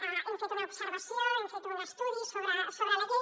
hem fet una observació hem fet un estudi sobre la llei